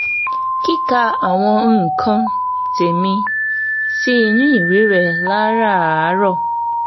kíka àwọn nǹkan tèmi sínú ìwé rẹ láràárọ̀